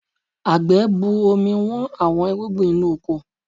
Àgbẹ̀ bu omi Wọ́n àwọn irúgbìn inú oko